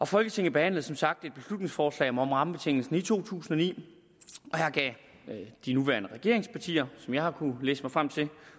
folketinget behandlede som sagt et beslutningsforslag om rammebetingelsen i to tusind og ni og her gav de nuværende regeringspartier som jeg har kunnet læse mig frem til